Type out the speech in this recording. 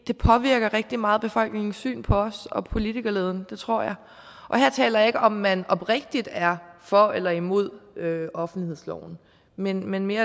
påvirker rigtig meget befolkningens syn på os og politikerleden det tror jeg og her taler jeg ikke om om man oprigtigt er for eller imod offentlighedsloven men men mere